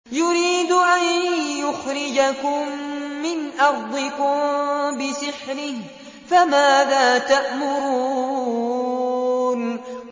يُرِيدُ أَن يُخْرِجَكُم مِّنْ أَرْضِكُم بِسِحْرِهِ فَمَاذَا تَأْمُرُونَ